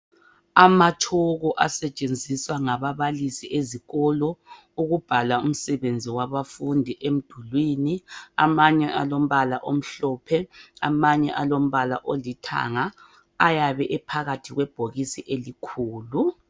Amatshoko asetshenziswa ngababalisi ezikolo ukubhala umsebenzi wabafundi emdulwini, amanye alombala omhlophe amanye alombala olithanga, ayabe esebhokisini elikhulu.